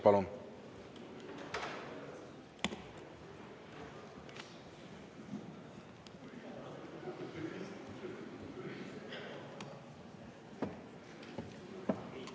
Palun!